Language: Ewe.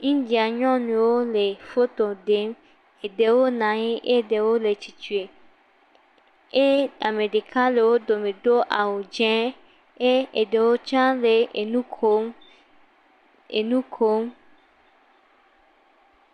Indian nyɔnuwo le foto ɖem, eɖewo na anyi eye eɖewo le tsitre, eye ame ɖeka le wo dome do awu dzɛ eye eɖewo tsa le wo dome le nu kom le nu kom.